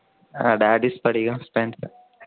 ആ daddy Spadikam fan ആണ്